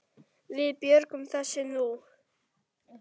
Við björgum þessu nú.